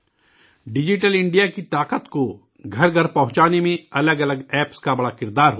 digital India کی طاقت کو گھر گھر پہنچانے میں الگ الگ ایپس کا بڑا رول ہوتا ہے